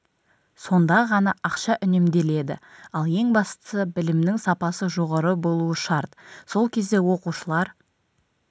сонда ғана ақша үнемделеді ал ең бастысы білімнің сапасы жоғары болуы шарт сол кезде оқушылар